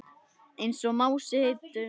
Einsog Mási heitinn bróðir.